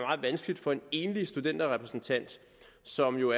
vanskeligt for en enlig studenterrepræsentant som jo